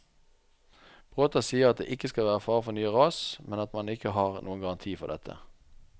Bråta sier at det ikke skal være fare for nye ras, men at man ikke har noen garanti for dette.